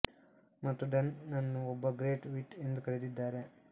ಮತ್ತು ಡನ್ ನನ್ನು ಒಬ್ಬ ಗ್ರೇಟ್ ವಿಟ್ ಎಂದು ಕರೆದಿದ್ದಾರೆ